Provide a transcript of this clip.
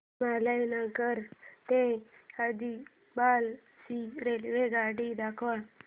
हिमायतनगर ते आदिलाबाद ची रेल्वेगाडी दाखवा